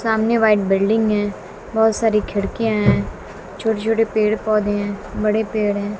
सामने white building हैं बहोत सारी खिड़कियाॅं हैं छोटे छोटे पेड़ पौधे हैं बड़े पेड़ हैं।